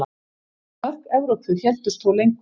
Mörk Evrópu héldust þó lengur.